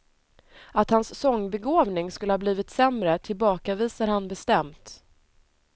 Att hans sångbegåvning skulle ha blivit sämre tillbakavisar han bestämt.